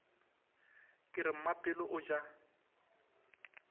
ka re mmapelo o ja